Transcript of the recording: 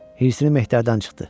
Hirsini Mehtərdən çıxdı.